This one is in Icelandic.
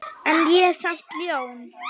En ég er samt ljón.